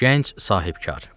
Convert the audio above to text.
Gənc sahibkar.